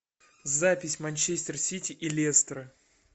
запись манчестер сити и лестера